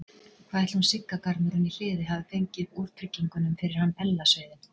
Hvað ætli hún Sigga garmurinn í Hliði hafi fengið úr tryggingunum fyrir hann Ella sauðinn?